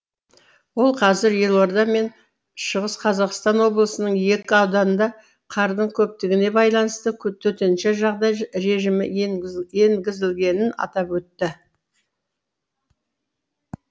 ол қазір елорда мен шқо ның екі ауданында қардың көптігіне байланысты төтенше жағдай режимі енгізілгенін атап өтті